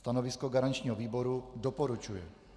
Stanovisko garančního výboru: doporučuje.